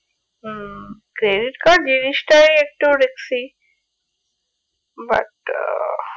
হম credit card জিনিসটাই একটু risky but ah